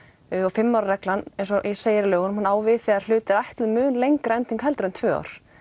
fimm ára reglan eins og segir í lögunum hún á við þegar hlut er ætluð mun lengri ending heldur en tvö ár